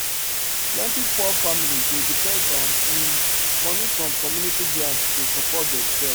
plenty poor families dey depend on um money from community grant to support themselves